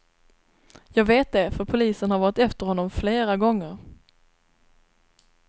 Jag vet det, för polisen har varit efter honom flera gånger.